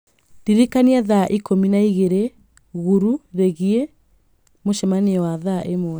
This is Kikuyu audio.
ndĩririkani thaa ikũmi na igĩrĩ gũrũ rĩgiĩ mũcemanio wa ithaa ĩmwe